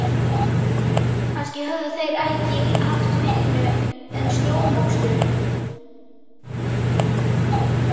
Kannski höfðu þeir ekki haft aðra vinnu en snjómokstur.